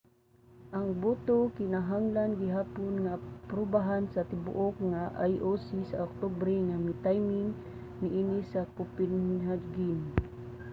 ang boto kinahanglan gihapon nga aprubahan sa tibuok nga ioc sa oktubre nga miting niini sa copenhagen